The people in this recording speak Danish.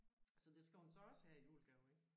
Så det skal hun så også have i julegave ik